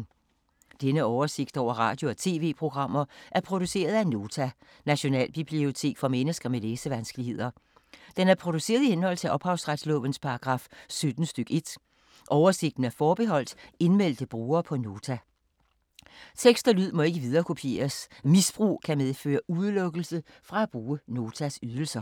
Denne oversigt over radio og TV-programmer er produceret af Nota, Nationalbibliotek for mennesker med læsevanskeligheder. Den er produceret i henhold til ophavsretslovens paragraf 17 stk. 1. Oversigten er forbeholdt indmeldte brugere på Nota. Tekst og lyd må ikke viderekopieres. Misbrug kan medføre udelukkelse fra at bruge Notas ydelser.